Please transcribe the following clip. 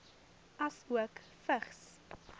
asook vigs